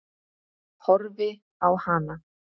Horfi á hana.